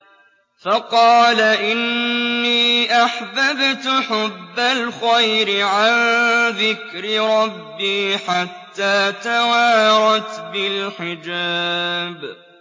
فَقَالَ إِنِّي أَحْبَبْتُ حُبَّ الْخَيْرِ عَن ذِكْرِ رَبِّي حَتَّىٰ تَوَارَتْ بِالْحِجَابِ